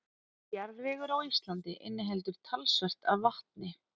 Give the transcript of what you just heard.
Jarðvegur á Íslandi inniheldur talsvert af vatni.